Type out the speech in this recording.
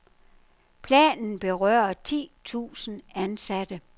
Planen berører ti tusind ansatte.